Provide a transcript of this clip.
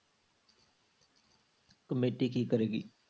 Committee ਕੀ ਕਰੇਗੀ?